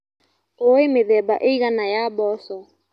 ũĩ mĩthemba ĩigana ya mboco.